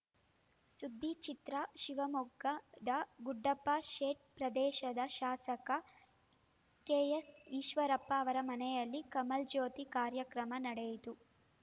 ಸುದ್ದಿಚಿತ್ರ ಶಿವಮೊಗ್ಗದ ಗುಂಡಪ್ಪ ಶೆಡ್‌ ಪ್ರದೇಶದ ಶಾಸಕ ಕೆ ಎಸ್‌ ಈಶ್ವರಪ್ಪ ಅವರ ಮನೆಯಲ್ಲಿ ಕಮಲ್‌ ಜ್ಯೋತಿ ಕಾರ್ಯಕ್ರಮ ನಡೆಯಿತು